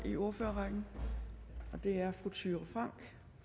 i ordførerrækken det er fru thyra frank